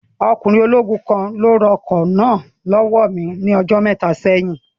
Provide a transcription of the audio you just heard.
Ọkùnrin ológun kan ni ó ra ọkọ̀ náà lọ́wọ́ mi ní ọjọ́ mẹ́ta sẹ́yìn